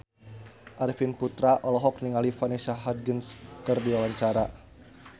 Arifin Putra olohok ningali Vanessa Hudgens keur diwawancara